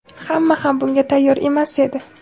hamma ham bunga tayyor emas edi.